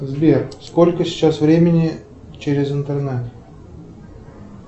сбер сколько сейчас времени через интернет